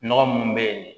Nɔgɔ munnu be yen